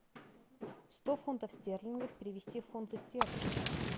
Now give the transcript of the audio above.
сто фунтов стерлингов перевести в фунты стерлинги